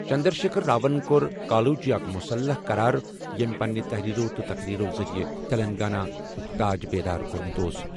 چندر شیکھر راون کوٚر کالوجی اکھ مصلح قرار ییٚمہِ پننہِ تحریرو تہٕ تقریرو ذٔریعہٕ تلنگانہ ہُک تاج بیدار کوٚرمُت اوس۔